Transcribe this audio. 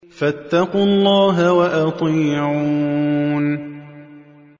فَاتَّقُوا اللَّهَ وَأَطِيعُونِ